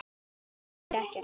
Segir ekkert.